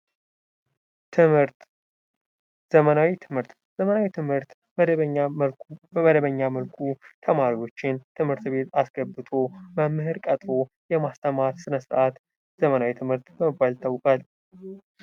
ዘመናዊ ትምህርት በመደበኛ መልኩ ተማሪዎችን ቤት አስገብቶ መምህር ቀጥሮ የማስተማር ስነ ስርዓት የዘመናዊ ትምህርት በመባል ይታወቃል።